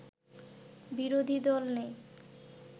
বিরোধী দল নেই